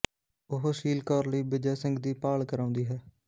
ਉਹ ਸ਼ੀਲ ਕੌਰ ਲਈ ਬਿਜੈ ਸਿੰਘ ਦੀ ਭਾਲ ਕਰਾਉਂਦੀ ਹੈ